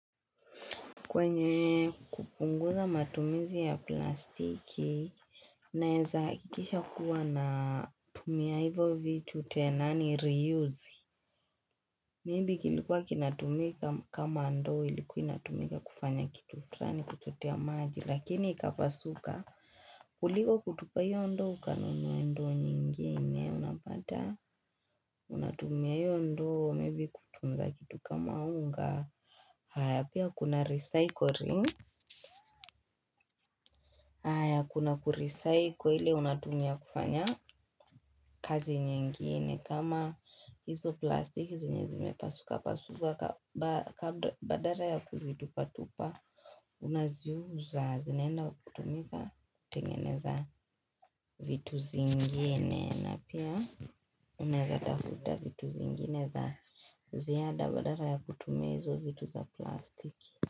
Kwenye kupunguza matumizi ya plastiki, naeza hakikisha kuwa na tumia hivyo vitu tena ni re-use. Maybe kilikuwa kinatumika kama ndoo ilikuwa inatumika kufanya kitu fulani kuchotea maji lakini ikapasuka kuliko kutupa hiyo ndoo ukanunue ndoo nyingine. Unapata, unatumia hiyo ndoo, maybe kutunza kitu kama unga. Haya, pia kuna recycling? Haya kuna ku recycle ile unatumia kufanya kazi nyingine kama hizo plastiki zenye zimepasuka pasuka badala ya kuzitupa tupa Unaziuza zinaenda kutumika kutengeneza vitu zingine na pia unaweza tafuta vitu zingine za ziada badala ya kutumia hizo vitu za plastiki.